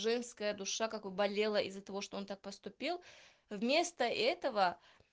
женская душа какой болела из-за того что он так поступил вместо этого